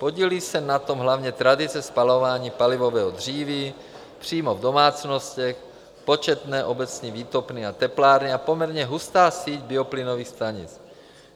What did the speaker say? Podílí se na tom hlavně tradice spalování palivového dříví přímo v domácnostech, početné obecní výtopny a teplárny a poměrně hustá síť bioplynových stanic.